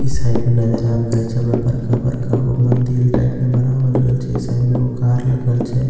ई side मे नजर आबि करए छे हमरा बड़का बड़का गो मंदिल टाइप में बनावल गेल छै साइड मे एगो कार लगल छे --